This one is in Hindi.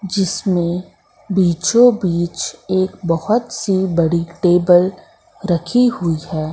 जिसमें बीचो बीच एक बहोत सी बड़ी टेबल रखी हुई है।